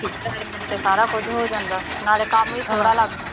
ਰਲ ਮਿਲ ਕੇ ਸਾਰਾ ਕੁਝ ਹੋ ਜਾਂਦਾ ਨਾਲੇ ਕੰਮ ਵੀ ਥੋੜ੍ਹਾ ਲਗਦਾ।